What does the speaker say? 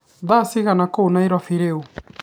thaa cigana kuu nairobi riu